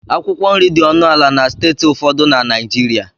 Akwụkwọ nri dị ọnụ ala na steeti ụfọdụ na Naịjirịa